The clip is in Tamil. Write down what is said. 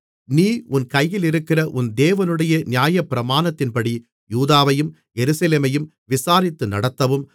நீ உன் கையிலிருக்கிற உன் தேவனுடைய நியாயப்பிரமாணத்தின்படி யூதாவையும் எருசலேமையும் விசாரித்து நடத்தவும்